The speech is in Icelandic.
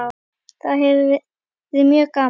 Það hefur verið mjög gaman.